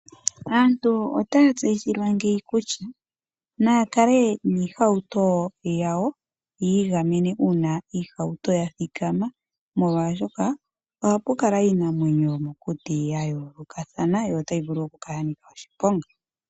Aantu otaya tseyithilwa ngeyi kutya naya kale miihauto yawo yiigamene uuna iihauto yathikama, molwaashoka ohapu kala iinamwenyo yomokuti yayoolokathana, yo otayi vulu okunkala yanika oshiponga.